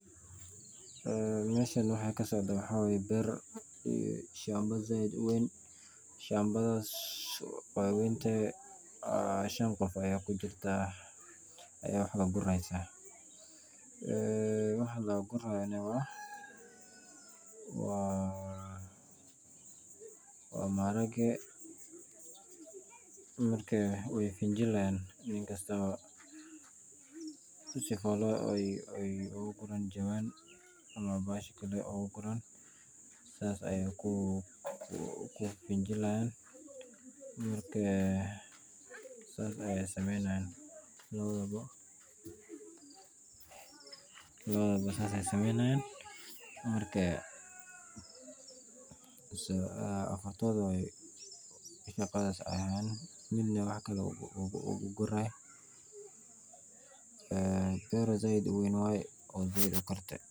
Eeen meeshan waxa ka socdo waxa wayee beer iyo shamba zaid u weyn, shambadhas waa wentehe aaa shan qof aya kujirta aya wax guri haysa waa maharage marka way finjilhayan si folooy uu gu gurana jawan ama saas ayay ku finjilhyan, markee saas ayay sameyni haayan lawadhabo. lawadhas shaqadhas ayay hayan midna uu gur haay een beer zaid u weyn wayee.